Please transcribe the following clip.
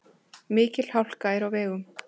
Mikil hálka er á vegum.